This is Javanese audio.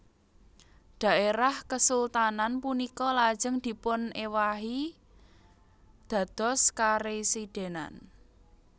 Daerah kesultanan punika lajeng dipunewahi dados karesidenan